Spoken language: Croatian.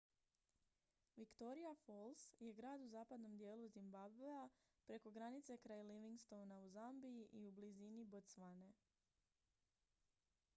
victoria falls je grad u zapadnom dijelu zimbabwea preko granice kraj livingstona u zambiji i u blizini botswane